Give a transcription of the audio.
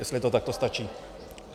Jestli to takhle stačí.